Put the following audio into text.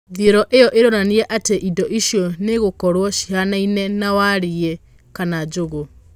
Thĩorĩ ĩo ĩronania atĩ indo icio nogũkorwo cihanaine na warĩ kana njũgũ.